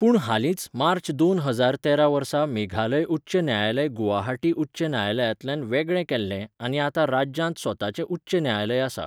पूण हालींच मार्च दोन हजार तेरा वर्सा मेघालय उच्च न्यायालय गुवाहाटी उच्च न्यायालयांतल्यान वेगळें केल्लें आनी आतां राज्यांत स्वताचें उच्च न्यायालय आसा.